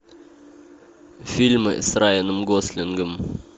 фильмы с райаном гослингом